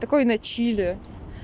такой на чили